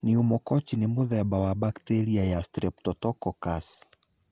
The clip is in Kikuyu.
pneumococci nĩ mũthemba wa bacteria ya streptococcus.